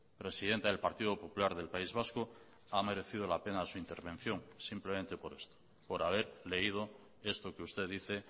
presidenta del partido popular del país vasco ha merecido la pena su intervención simplemente por esto por haber leído esto que usted dice